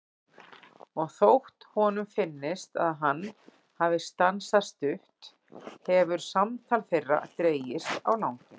Og þótt honum finnist að hann hafi stansað stutt hefur samtal þeirra dregist á langinn.